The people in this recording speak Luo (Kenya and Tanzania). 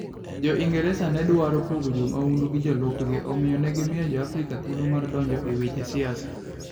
Jo - Ingresa ne dwaro pogo jo mahundu gi jolupgi, omiyo, ne gimiyo Jo-Afrika thuolo mar donjo e weche siasa.